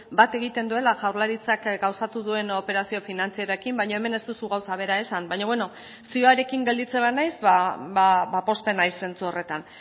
bat egiten duela jaurlaritzak gauzatu duen operazio finantzarioekin baina hemen ez duzu gauza bera esan baina beno zioarekin gelditzen banaiz pozten naiz zentzu horretan